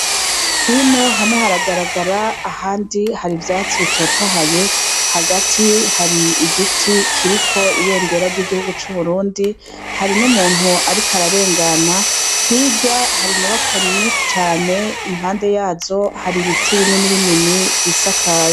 Hino hamwe haragaragara, ahandi hari ivyatsi bitotahaye. Hagati hari igiti kiriko ibendera ry'igihugu c'uburundi. Hari n'umuntu ariko ararengana. Hirya hari inyubakwa nyinshi cane, impande yazo hari ibiti bininibinini vyisakaye.